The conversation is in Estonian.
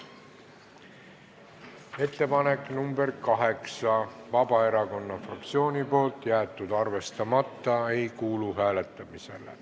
Ettepanek nr 8, esitanud Vabaerakonna fraktsioon, jäetud arvestamata ega kuulu hääletamisele.